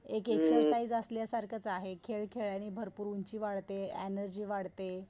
एक एक्सरसाइज असल्या सारखच आहे. खेळ खेळल्याने भरपूर उंची वाढते, एनर्जी वाढते.